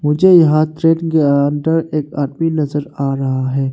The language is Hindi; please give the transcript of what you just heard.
मुझे यहां ट्रेन के अंदर एक आदमी नजर आ रहा है।